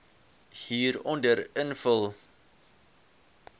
hieronder invul